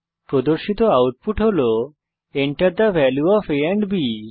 প্রদর্শিত আউটপুট হল Enter the value of a and B